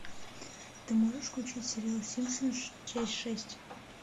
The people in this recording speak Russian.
ты можешь включить сериал симпсоны часть шесть